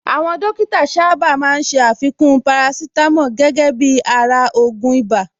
Àwọn Dókítà sáábà máa ń ṣé àfikún parasítámọ̀ gẹ́gẹ́ bíi ara ògùn ibà